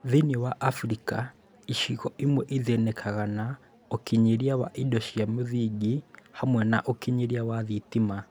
Thĩiniĩ wa Africa, icigo imwe ithĩnĩkaga na ũkinyĩria wa indo cia mũthingi hamwe na ũkinyĩria wa thitima